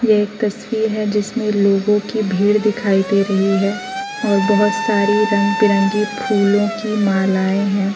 यह एक तस्वीर है जिसमें लोगों की भीड़ दिखाई दे रही है और बहोत सारी रंग बिरंगी फुलों की मालाएं हैं।